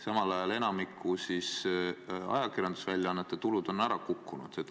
Samal ajal on enamiku ajakirjandusväljaannete tulud ära kukkunud.